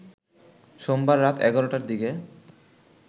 সোমবার রাত ১১টার দিকে